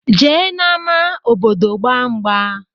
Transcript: Jee na ama obodo gba ngba.